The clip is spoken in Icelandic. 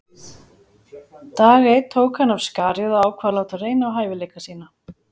Dag einn tók hann af skarið og ákvað að láta reyna á hæfileika sína.